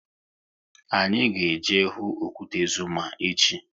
Anyị ga eje hụ okwute Zuma echi